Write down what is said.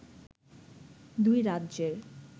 দুই রাজ্যের